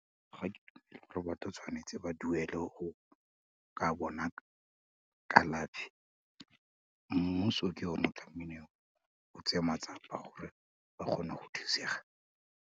batho tshwanetse ba duele go ka bona kalafi, mmuso ke one tlamehileng o tse matsapa gore ba kgone go thusega.